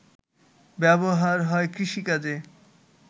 ব্যবহার হয় কৃষিকাজে